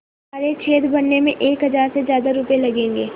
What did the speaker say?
तो सारे छेद भरने में एक हज़ार से ज़्यादा रुपये लगेंगे